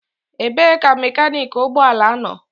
Ebee ka mekaniki ụgbọ ala nọ?